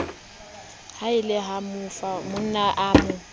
halefa ha monna a mo